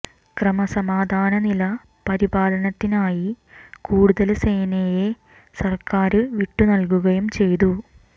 ക്രമസമാധാന നില പരിപാലനത്തിനായി കൂടുതല് സേനയെ സർക്കാര് വിട്ടു നല്കുകയും ചെയ്തുു